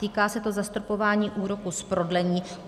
Týká se to zastropování úroku z prodlení.